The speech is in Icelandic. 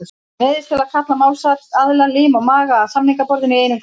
Ég neyðist til að kalla málsaðila, lim og maga, að samningaborðinu í einum grænum.